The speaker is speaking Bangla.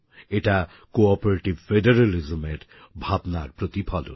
এটা কোঅপারেটিভ ফেডারালিজম এর ভাবনার প্রতিফলন